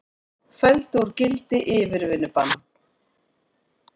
Felldu úr gildi yfirvinnubann